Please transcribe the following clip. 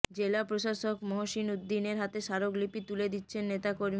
জেলা প্রশাসক মহসিন উদ্দিনের হাতে স্মারকলিপি তুলে দিচ্ছেন নেতাকর্মীরা